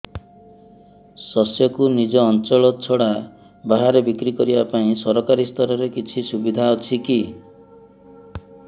ଶସ୍ୟକୁ ନିଜ ଅଞ୍ଚଳ ଛଡା ବାହାରେ ବିକ୍ରି କରିବା ପାଇଁ ସରକାରୀ ସ୍ତରରେ କିଛି ସୁବିଧା ଅଛି କି